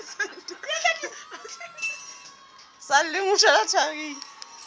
sa lleng o shwela tharing